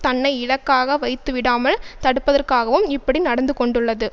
தன்னை இலக்காக வைத்துவிடாமல் தடுப்பதற்காகவும் இப்படி நடந்துகொண்டுள்ளது